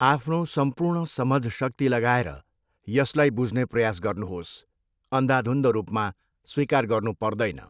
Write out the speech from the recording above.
आफ्नो सम्पूर्ण समझशक्ति लगाएर यसलाई बुझ्ने प्रयास गर्नुहोस् अन्धाधुन्ध रूपमा स्वीकार गर्नु पर्दैन।